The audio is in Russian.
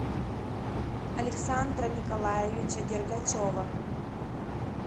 александра николаевича дергачева